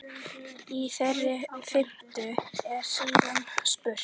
Í þeirri fimmtu er síðan spurt?